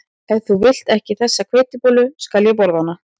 Ef þú vilt ekki þessa hveitibollu skal ég borða hana